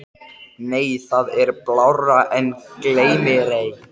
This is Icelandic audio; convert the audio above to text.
Á kvöldin sátu þau og bollalögðu framtíð hennar.